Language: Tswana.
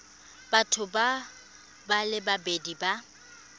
batho ba le babedi ba